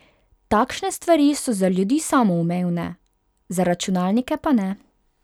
Takšne stvari so za ljudi samoumevne, za računalnike pa ne.